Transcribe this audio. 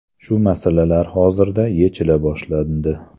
Shu masalalar hozirda yechila boshlandi.